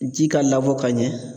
Ji ka labɔ ka ɲɛ